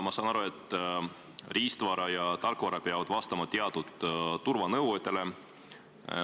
Ma saan aru, et riistvara ja tarkvara peavad vastama teatud turvanõuetele.